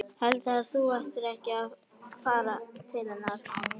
Heldurðu að þú ættir ekki að fara til hennar?